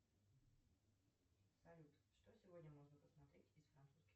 салют что сегодня можно посмотреть из французских